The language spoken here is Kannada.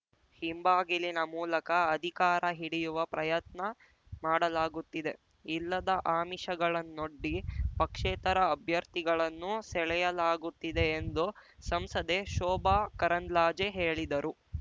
ಹಿಂಬಾಗಿಲಿನ ಮೂಲಕ ಅಧಿಕಾರ ಹಿಡಿಯುವ ಪ್ರಯತ್ನ ಮಾಡಲಾಗುತ್ತಿದೆ ಇಲ್ಲದ ಆಮಿಷಗಳನ್ನೊಡ್ಡಿ ಪಕ್ಷೇತರ ಅಭ್ಯರ್ಥಿಗಳನ್ನು ಸೆಳೆಯಲಾಗುತ್ತಿದೆ ಎಂದು ಸಂಸದೆ ಶೋಭಾ ಕರಂದ್ಲಾಜೆ ಹೇಳಿದರು